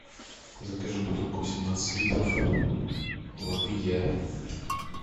закажи бутылку восемнадцать литров воды я